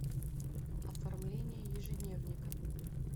оформление ежедневника